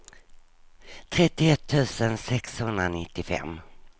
trettioett tusen sexhundranittiofem